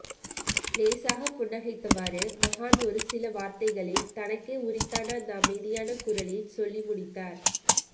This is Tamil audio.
லேசாக புன்னகைத்தவாறு மகான் ஒரு சில வார்த்தைகளில் தனக்கே உரித்தான அந்த அமைதியான குரலில் சொல்லி முடித்தார்